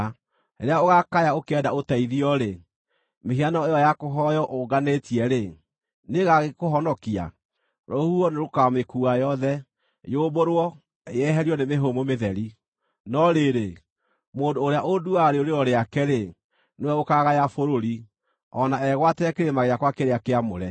Rĩrĩa ũgaakaya ũkĩenda ũteithio-rĩ, mĩhianano ĩyo ya kũhooywo ũnganĩtie-rĩ, nĩĩgagĩkũhonokia! Rũhuho nĩrũkamĩkuua yothe, yũmbũrwo, yeherio nĩ mĩhũmũ mĩtheri. No rĩrĩ, mũndũ ũrĩa ũnduuaga rĩũrĩro rĩake-rĩ, nĩwe ũkaagaya bũrũri, o na egwatĩre kĩrĩma gĩakwa kĩrĩa kĩamũre.”